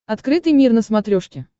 открытый мир на смотрешке